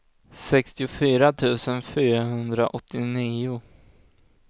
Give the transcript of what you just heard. sextiofyra tusen fyrahundraåttionio